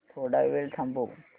थोडा वेळ थांबव